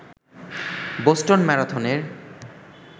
Boston ম্যারাথনের